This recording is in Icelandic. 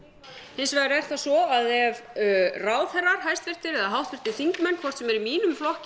hins vegar er það svo að ef ráðherrar hæstvirtir eða háttvirtir þingmenn hvort sem er í mínum flokki